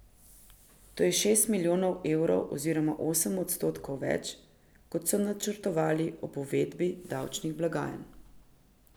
To je šest milijonov evrov oziroma osem odstotkov več, kot so načrtovali ob uvedbi davčnih blagajn.